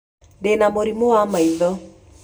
Ndĩ na mũrimũ wa maitho.